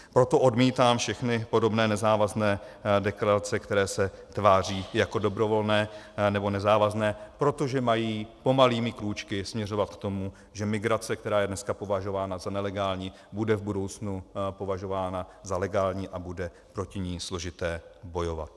Proto odmítám všechny podobné nezávazné deklarace, které se tváří jako dobrovolné nebo nezávazné, protože mají pomalými krůčky směřovat k tomu, že migrace, která je dneska považována za nelegální, bude v budoucnu považována za legální a bude proti ní složité bojovat.